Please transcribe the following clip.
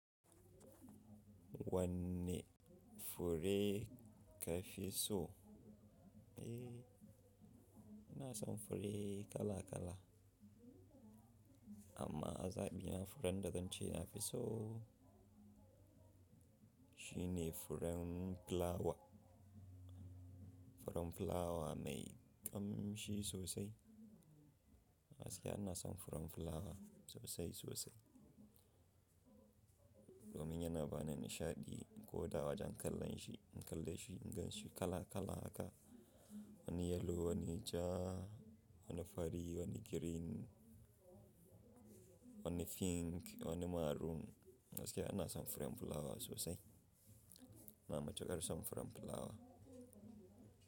Wanne fure ka fi so? Eh, ina son fure kala kala. Amma a zaɓi na furen da zance na fi so shi ne furen fulawa. Furen fulawa mai ƙamshi sosai. Gaskiya ina son furen fulawa sosai sosai. Domin yana bani nishaɗi, ko da wajen kalle shi, in kalle shi, in gan shi kala kala haka. Wani yellow, wani ja, wani fari, wani green, wani pink, wani maroon. Gaskiya ina son furen fulawa sosai. Ina matuƙar son furen fulawa.